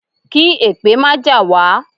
Kí èpè má jà wá.